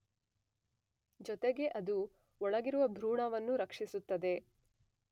ಜೊತೆಗೆ ಅದು ಒಳಗಿರುವ ಭ್ರೂಣವನ್ನು ರಕ್ಷಿಸುತ್ತದೆ.